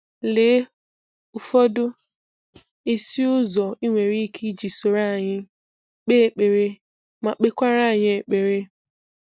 Lee ụfọdụ isi ụzọ i nwere ike iji soro anyị kpe ekpere ma kpe kwara anyị ekpere.